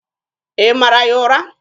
Ị mara ya ụra?